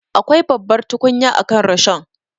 Akwai babbar tukunya akan rishon.